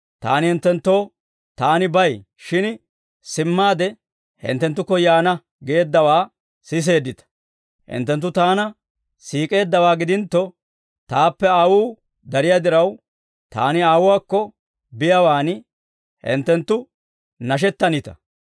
Taani hinttenttoo, ‹Taani bay; shin simmaade hinttenttukko yaana› geeddawaa siseeddita; hinttenttu Taana siik'eeddawaa gidintto, Taappe Aawuu dariyaa diraw, Taani Aawuwaakko biyaawan hinttenttu nashettanita.